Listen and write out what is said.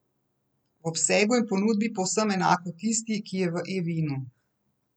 V obsegu in ponudbi povsem enako tisti, ki je v eVinu.